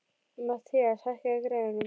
Mathías, hækkaðu í græjunum.